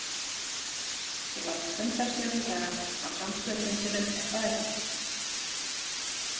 Þú varst fundarstjóri í dag á samstöðufundinum er það ekki?